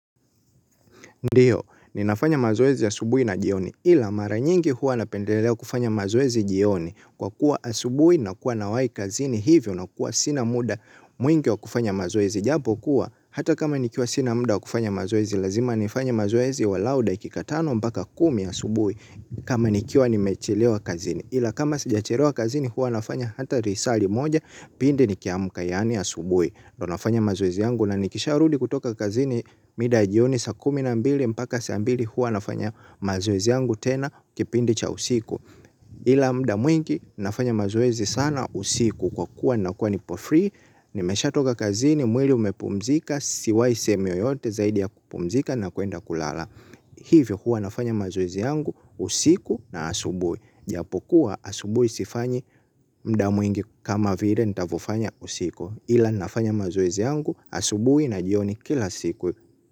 Ndiyo, ninafanya mazoezi ya asubuhi na jioni, ila mara nyingi huwa napendelea kufanya mazoezi jioni, kwa kuwa asubuhi nakuwa nawai kazini hivyo na kuwa sina muda mwingi wa kufanya mazoezi. Japo kuwa, hata kama nikiwa sina mda wa kufanya mazoezi, lazima nifanye mazoezi walau dakika tano mbaka kumi asubuhi, kama nikiwa nimechelewa kazini. Ila kama sijachelewa kazini huwa nafanya hata risali moja pindi nikiamka yaani asubuhi ndo nafanya mazoezi yangu na nikisharudi kutoka kazini mida ya jioni saa kumi na mbili mpaka saa mbili hua nafanya mazoezi yangu tena kipindi cha usiku ila mda mwingi nafanya mazoezi sana usiku kwa kuwa nakuwa nipo free nimeshatoka kazini mwili umepumzika siwai sehemu yoyote zaidi ya kupumzika na kuenda kulala hivyo hua nafanya mazoezi yangu usiku na asubuhi. Japokuwa asubuhi sifanyi mda mwingi kama vile nitavofanya usiku ila nafanya mazoezi yangu asubuhi na jioni kila siku.